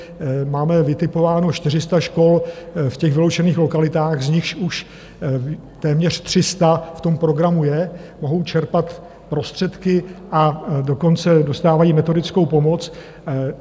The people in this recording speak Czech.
Máme vytipováno 400 škol v těch vyloučených lokalitách, z nichž už téměř 300 v tom programu je, mohou čerpat prostředky, a dokonce dostávají metodickou pomoc.